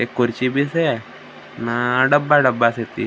एक कुर्छी में से ना डबा डबा से थी ।